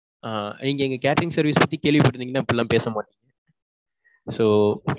இங்க எங்க catering service பத்தி கேள்வி பட்டு இருந்தீங்கனா இப்பிடி எல்லாம் பேச மாட்டீங்க. so,